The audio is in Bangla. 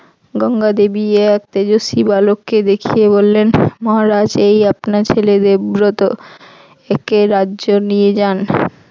গঙ্গা দেবী এ এক তেজস্বী বালককে দেখিয়ে বললেন মহারাজ এই আপনার ছেলে দেবব্রত। একে রাজ্য নিয়ে যান।